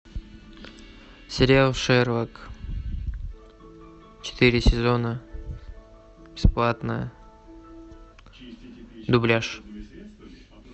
сериал шерлок четыре сезона бесплатно дубляж